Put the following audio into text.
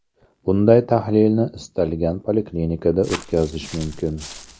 Bunday tahlilni istalgan poliklinikada o‘tkazish mumkin.